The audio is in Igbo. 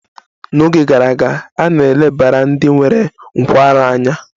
N'oge gara aga, a na-elebara ndị nwere nkwarụ anya.